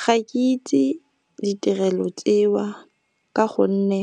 Ga ke itse ditirelo tseo ka gonne